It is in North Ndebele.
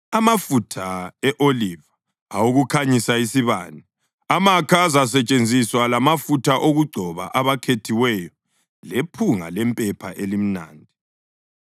amafutha e-oliva awokukhanyisa isibane, amakha azasetshenziswa lamafutha okugcoba abakhethiweyo lephunga lempepha elimnandi,